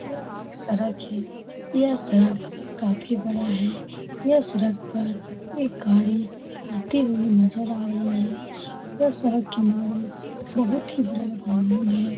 यह एक सड़क है। यह सड़क काफी बड़ा है। यह सड़क पर एक गाडी आते हुई नजर आ रही है। यह सड़क किनारे बहुत ही बड़ा ग्राउंड है।